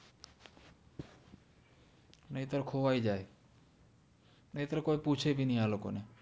નિત્ર ખોવાઇ જાએનિત્ર કોઇ પુછે બિ નિ આ લોકો ને